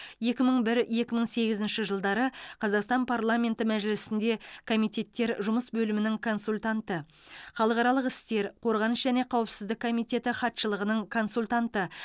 екі мың бір екі мың сегізінші жылдары қазақстан парламенті мәжілісінде комитеттермен жұмыс бөлімінің консультанты халықаралық істер қорғаныс және қауіпсіздік комитеті хатшылығының консультанты